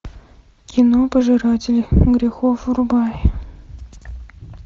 кино пожиратели грехов врубай